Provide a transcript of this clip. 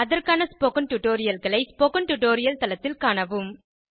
அதற்கான ஸ்போகன் டுடோரியல்களை spoken tutorial தளத்தில் காணவும்